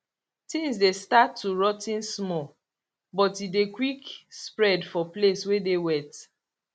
tins dey start too rot ten small but e dey quick spread for place wey dey wet